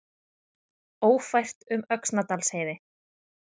Ófært um Öxnadalsheiði